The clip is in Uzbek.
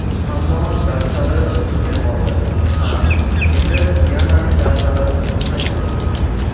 Ammo darslari o‘tilmay qoldi... Ha, endi Diananing darslari o‘tilmaydi!